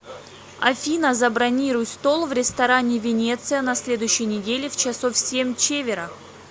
афина забронируй стол в ресторане венеция на следующей неделе в часов семь чевера